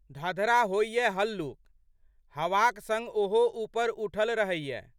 धधरा होइए हल्लुक। हवाक संग ओहो ऊपर उठल रहैए।